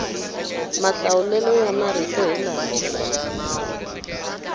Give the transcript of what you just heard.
mahlawulelo ya marito hi lama